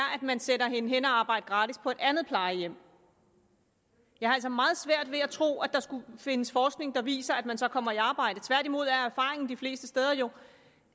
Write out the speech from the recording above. man sender hende hen at arbejde gratis på et andet plejehjem jeg har altså meget svært ved at tro at der skulle findes forskning der viser at man så kommer i arbejde tværtimod er erfaringen de fleste steder jo